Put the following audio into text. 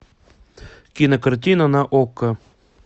кинокартина на окко